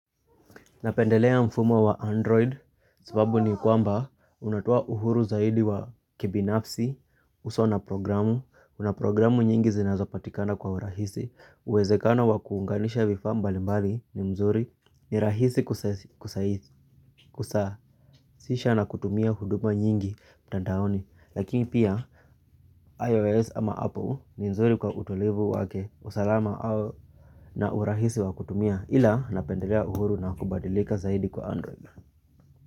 Napendelea mfumo wa android, sababu ni kwamba, unatoa uhuru zaidi wa kibinafsi, usawa na programu, kuna programu nyingi zinazopatikana kwa urahisi, uwezekano wa kuunganisha vifaa mbali mbali ni mzuri, ni rahisi kusasisha na kutumia huduma nyingi, mtandaoni, lakini pia, iOS ama Apple, ni mzuri kwa utulivu wake, usalama na urahisi wa kutumia, ila napendelea uhuru na kubadilika zaidi kwa android.